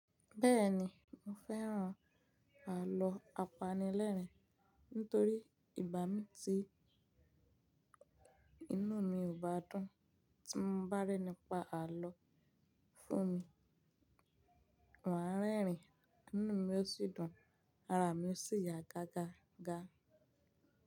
Bẹ́ẹ̀ni, mo fẹ́ràn àlọ́ apanilẹ́rìn nitorí ìgbá mi ti inú mi ò bá dùn. Tí mo bá rí ẹni pa àlọ́ fún mi, maa rẹ́rìn-ín, inú mi o sì dùn, ara mi ó sì yá gágá ga.